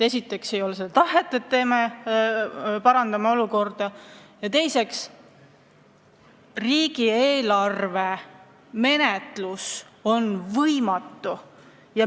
Esiteks ei ole seda tahetud, et parandame olukorda, ja teiseks, riigieelarve menetlus on võimatu.